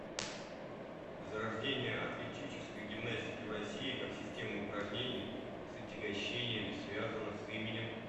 зарождение атлетической гимнастики в россии как системы упражнений с отягощениями связано с именем